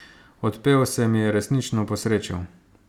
Odpev se mi je resnično posrečil.